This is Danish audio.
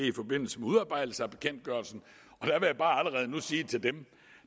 i forbindelse med udarbejdelse af bekendtgørelsen og nu sige til dem